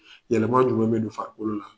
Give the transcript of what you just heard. Yɛlɛma jumɛn bɛ don farikolo la.